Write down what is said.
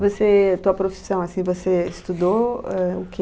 Você, tua profissão, assim, você estudou, eh, o quê?